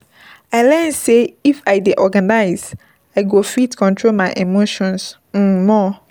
I learn sey if i dey organize I go fit control my emotions um more.